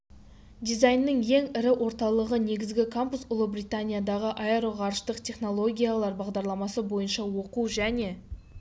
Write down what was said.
дизайннің ең ірі орталығы негізгі кампус ұлыбританиядағы аэро ғарыштық технологиялар бағдарламасы бойынша оқу және